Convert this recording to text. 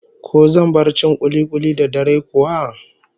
Ko zan bar cin kuli-kuli da dare kuwa?